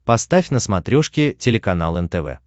поставь на смотрешке телеканал нтв